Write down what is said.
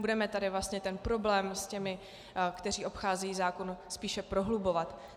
Budeme tady vlastně ten problém s těmi, kteří obcházejí zákon, spíše prohlubovat.